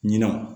Ɲina